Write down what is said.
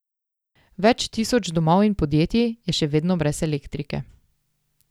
Več tisoč domov in podjetij je še vedno brez elektrike.